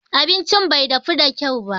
Abincin bai dafu da kyau ba.